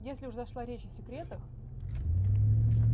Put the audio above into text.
если уж зашла речь о секретах